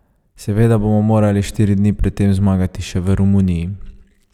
Seveda bodo morali štiri dni pred tem zmagati še v Romuniji.